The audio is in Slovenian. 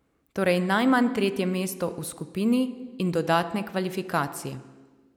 Torej najmanj tretje mesto v skupini in dodatne kvalifikacije.